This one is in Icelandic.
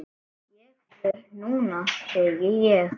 Ég fer núna, segi ég.